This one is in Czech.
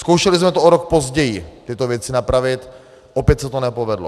Zkoušeli jsme to o rok později, tyto věci napravit, opět se to nepovedlo.